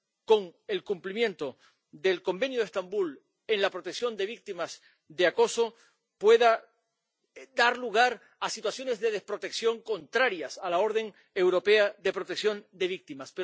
con el cumplimiento del Convenio de Estambul en la protección de víctimas de acoso pueda dar lugar a situaciones de desprotección contrarias a la orden europea de protección de víctimas.